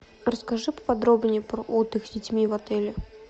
расскажи поподробнее про отдых с детьми в отеле